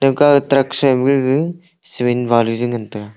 gaka truck suima gaga cement balu je ngantaga.